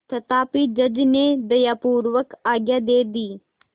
तथापि जज ने दयापूर्वक आज्ञा दे दी